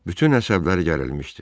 Bütün əsəbləri gərilmişdi.